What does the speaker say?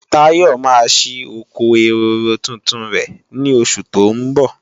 Táyọ̀ máa ṣí oko ehoro tuntun rẹ̀ ní oṣù tó ń bọ̀